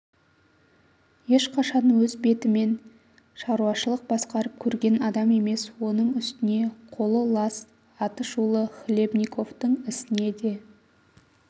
ешқашан өз бетміен шаруашылық басқарып көрген адам емес оның үстіне қолы лас атышулы хлебниковтың ісіне де